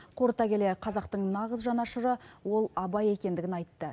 қорыта келе қазақтың нағыз жанашыры ол абай екендігін айтты